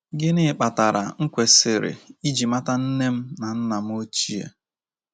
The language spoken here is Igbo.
Gịnị Kpatara M kwesịrị iji mata Nne m na Nna m Ochie? ”